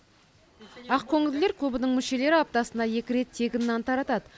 ақкөңілділер клубының мүшелері аптасына екі рет тегін нан таратады